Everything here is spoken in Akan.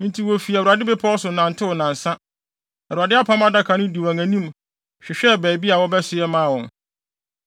Enti wofi Awurade Bepɔw so nantew nnansa. Awurade Apam Adaka no dii wɔn anim hwehwɛɛ baabi a wɔbɛsoɛ maa wɔn.